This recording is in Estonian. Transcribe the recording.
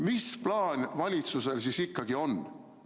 Mis plaan valitsusel siis ikkagi on?